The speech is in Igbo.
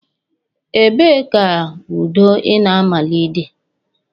Ebee ka ụdọ ị na-amali dị?